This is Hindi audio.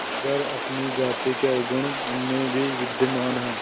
मगर अपनी जाति के अवगुण उनमें भी विद्यमान हैं